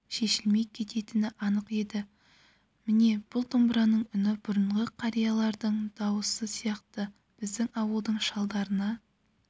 шешілмей кететіні анық еді міне бұл домбыраның үні бұрынғы қариялардың дауысы сияқты біздің ауылдың шалдарына